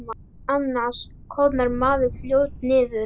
Annars koðnar maður fljótt niður.